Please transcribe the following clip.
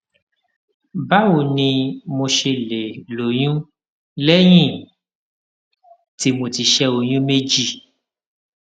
báwo ni mo ṣe lè lóyún léyìn tí mo ti ṣé oyún méjì